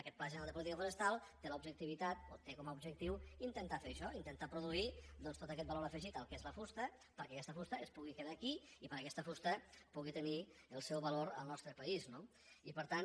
aquest pla general de política forestal té com a objectiu intentar fer això intentar produir tot aquest valor afegit al que és la fusta perquè aquesta fusta es pugui quedar aquí i perquè aquesta fusta pugui tenir el seu valor en el nostre país no i per tant